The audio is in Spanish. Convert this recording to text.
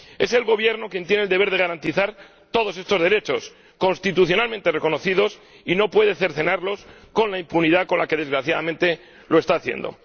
Es el Gobierno quien tiene el deber de garantizar todos estos derechos, constitucionalmente reconocidos, y no puede cercenarlos con la impunidad con la que, desgraciadamente, lo está haciendo.